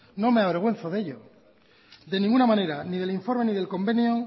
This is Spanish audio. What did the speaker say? no me avergüenzo de ello de ninguna manera ni del informe ni del convenio